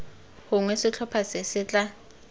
gongwe setlhopha se se tla